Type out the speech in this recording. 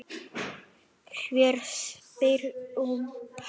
Hver spyr um hana?